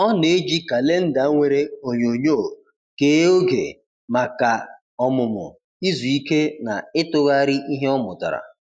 Ọ na-eji kalenda nwere onyonyo kee oge maka ọmụmụ, izu ike, na ịtụgharị ihe ọ mụtara.